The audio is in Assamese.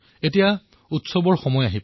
এয়া উৎসৱৰ বতৰ